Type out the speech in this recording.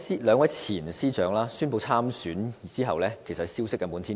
兩位前司長宣布參選後，消息滿天飛。